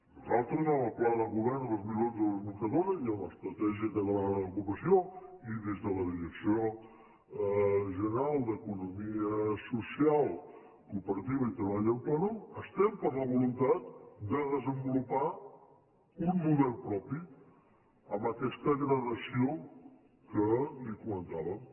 nosaltres en el pla de govern dos mil onze·dos mil catorze i en l’estra·tègia catalana d’ocupació i des de la direcció general d’economia social cooperativa i treball autònom estem per la voluntat de desenvolupar un model propi amb aquesta gradació que li comentàvem